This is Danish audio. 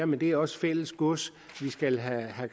men det er også fælles gods vi skal have